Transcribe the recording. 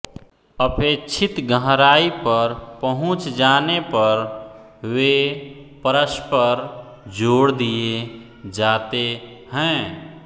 अपेक्षित गहराई पर पहुँच जाने पर वे परस्पर जोड़ दिए जाते हैं